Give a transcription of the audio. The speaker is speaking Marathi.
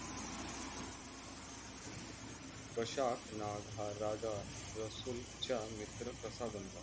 दशाक नाग हा राजा रसूल चा मित्र कसा बनला?